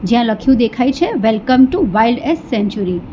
જ્યા લખ્યું દેખાય છે welcome to wild and century